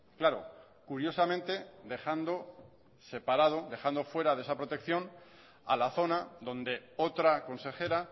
claro curiosamente dejando separado o fuera de esa protección a la zona donde otra consejera